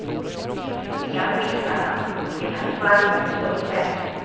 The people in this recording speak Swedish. Ibland missar han, ibland får han in en fullträff.